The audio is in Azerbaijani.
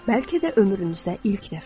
Bəlkə də ömrünüzdə ilk dəfə.